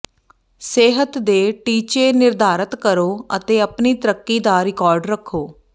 ਸਿਹਤ ਦੇ ਟੀਚੇ ਨਿਰਧਾਰਤ ਕਰੋ ਅਤੇ ਆਪਣੀ ਤਰੱਕੀ ਦਾ ਰਿਕਾਰਡ ਰੱਖੋ